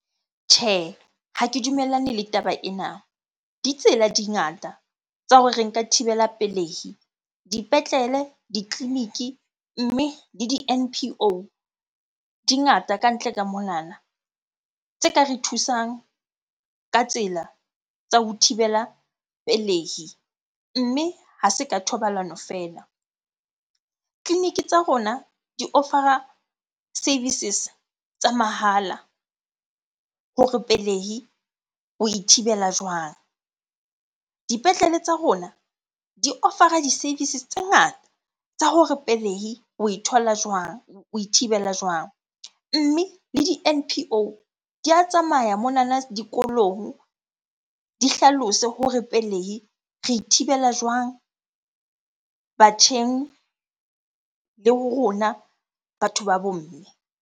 Tjhe, ha ke dumellane le taba ena. Ditsela di ngata tsa hore re nka thibela pelehi dipetlele, ditleleniki. Mme le di- M_P_O di ngata kantle ka monana tse ka re thusang ka tsela tsa ho thibela pelehi, mme ha se ka thobalano feela. Tleliniki tsa rona di offer-a services tsa mahala hore pelehi oe thibela jwang? Dipetlele tsa rona di offer-a di-services tse ngata tsa hore pelehi oe thola jwang, oe thibela jwang? Mme le di-M_P_O di a tsamaya monana dikolong, di hlalose hore pelehi re e thibela jwang batjheng le ho rona batho ba bo mme?